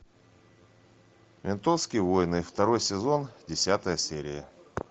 ментовские войны второй сезон десятая серия